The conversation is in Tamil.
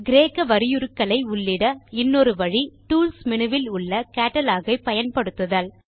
கிரேக்க வரியுருக்களை உள்ளிட இன்னொரு வழி டூல்ஸ் menuவில் உள்ள கேட்டலாக் ஐ பயன்படுத்துதல்